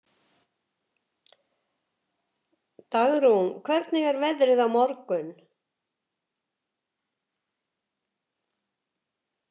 Dagrún, hvernig er veðrið á morgun?